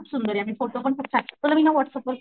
खूप सुंदर आम्ही फोटो पण खूप छान तुला मी ना व्हाट्सअँप वर,